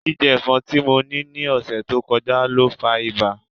Jijẹ ẹfọn ti mo ni ni ọsẹ to kọja lo fa iba.